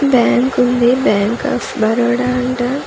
Bank ఉంది bank of Baroda అంట .